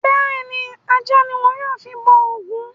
Bẹ́ẹ̀ni, ajá ni wọ́n yóò fi bọ òògùn